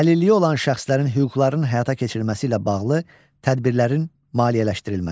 Əlilliyi olan şəxslərin hüquqlarının həyata keçirilməsi ilə bağlı tədbirlərin maliyyələşdirilməsi.